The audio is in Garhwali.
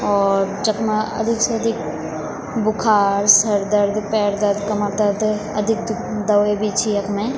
और जखमा अधिक से अधिक बुखार सरदर्द पैर दर्द कमर दर्द अधिक दुक दवे भी छी यखमें।